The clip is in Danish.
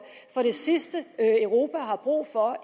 for det sidste europa har brug for i